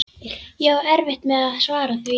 Ég á erfitt með að svara því.